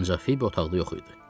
Ancaq Fibi otaqda yox idi.